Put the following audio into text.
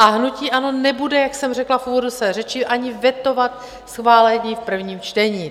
A hnutí ANO nebude, jak jsem řekla v úvodu své řeči, ani vetovat schválení v prvním čtení.